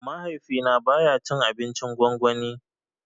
Mahaifi na baya cin abincin gwangwani